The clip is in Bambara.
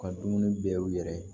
U ka dumuni bɛɛ u yɛrɛ ye